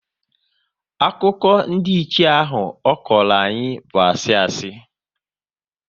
Akụkọ ndiiche ahụ ọ kọrọ anyị bụ asị asị